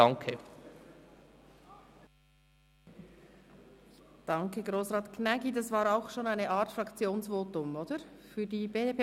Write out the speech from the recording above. Ich danke Grossrat Gnägi für sein Votum, das bereits eine Art Fraktionsvotum für die BDP war.